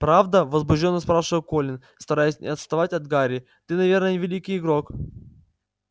правда возбуждённо спрашивал колин стараясь не отставать от гарри ты наверное великий игрок